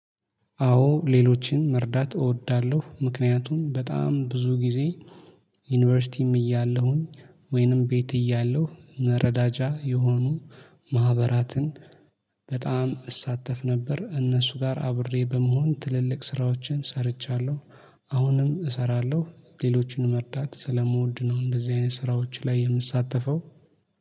አዎ ሌሎችን መርዳት እወዳለሁ። ምክንያቱም በጣም ብዙ ጊዜ። ዩኒቨርሲቲም እያለሁኝ ወይንም ቤት እያለሁ መረዳጃ የሆኑ ማህበራትን። በጣም እሳተፍ ነበር እነሱ ጋር አብሬ በመሆን ትልልቅ ስራዎችን ሰርቻለሁ። አሁንም እሰራለሁ ሌሎችን መርዳት ስለምወድ ነው እንደዚህ አይነት ስራዎች ላይ የምሳተፈው